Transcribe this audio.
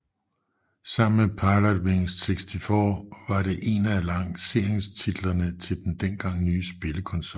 Sammen med Pilotwings 64 var det en af lanceringstitlerne til den dengang nye spillekonsol